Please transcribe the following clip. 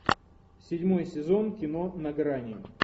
седьмой сезон кино на грани